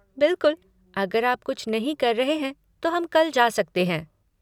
बिल्कुल, अगर आप कुछ नहीं कर रहे हैं तो हम कल जा सकते हैं।